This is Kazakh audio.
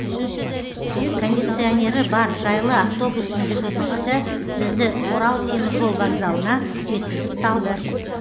кондиционері бар жайлы автобустың жүргізушісі бізді орал теміржол вокзалына жеткізіп салды